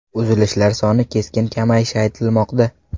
Uzilishlar soni keskin kamayishi aytilmoqda.